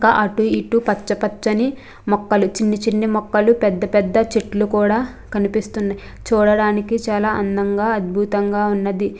ఇంకా అటు ఇటు పచ్చ పచ్చని మొక్కలు చిన్ని చిన్ని మొక్కలు పెద్ద చెట్లు కూడా కనిపిస్తున్నాయి. చూడడానికి చాలా అందంగా అద్భుతంగా ఉన్నది.